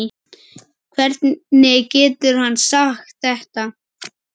Hvernig getur hann sagt þetta?